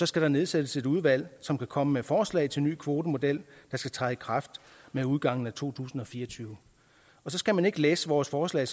skal der nedsættes et udvalg som kan komme med forslag til en ny kvotemodel der skal træde i kraft med udgangen af to tusind og fire og tyve så skal man ikke læse vores forslag